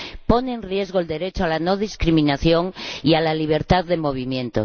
Pone en riesgo el derecho a la no discriminación y a la libertad de movimiento